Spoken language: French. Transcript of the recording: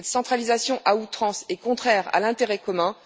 Cette centralisation à outrance est contraire à l'intérêt commun.